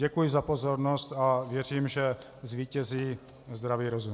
Děkuji za pozornost a věřím, že zvítězí zdravý rozum.